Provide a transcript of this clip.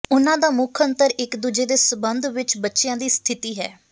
ਉਹਨਾਂ ਦਾ ਮੁੱਖ ਅੰਤਰ ਇਕ ਦੂਜੇ ਦੇ ਸਬੰਧ ਵਿਚ ਬੱਚਿਆਂ ਦੀ ਸਥਿਤੀ ਹੈ